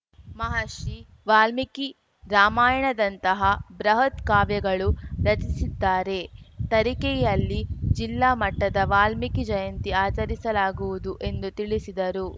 ಮಹರ್ಷಿ ವಾಲ್ಮೀಕಿ ರಾಮಾಯಣದಂತಹ ಬೃಹತ್‌ ಕಾವ್ಯಗಳು ರಚಿಸಿದ್ದಾರೆ ತರೀಕೆಯಲ್ಲಿ ಜಿಲ್ಲಾ ಮಟ್ಟದ ವಾಲ್ಮೀಕಿ ಜಯಂತಿ ಆಚರಿಸಲಾಗುವುದು ಎಂದು ತಿಳಿಸಿದರು